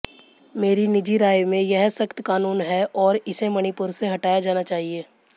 मेरी निजी राय में यह सख़्त क़ानून है और इसे मणिपुर से हटाया जाना चाहिए